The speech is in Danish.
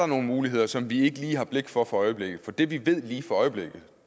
nogle muligheder som vi ikke lige har blik for øjeblikket for det vi ved lige for øjeblikket